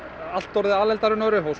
allt orðið alelda og